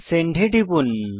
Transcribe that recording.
send এ টিপুন